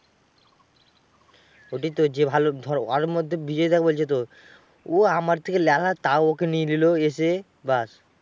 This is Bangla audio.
ওটাই তো যে ভালো ধর, ওর মধ্যে বিজয় দা বলছে তো। ও আমার থেকে ল্যালা তাও ওকে নিয়ে নিল এসে, ব্যাস।